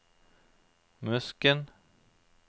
Musken